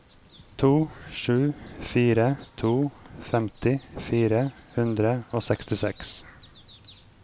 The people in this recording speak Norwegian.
to sju fire to femti fire hundre og sekstiseks